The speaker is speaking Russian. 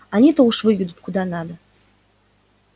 они-то уж выведут куда надо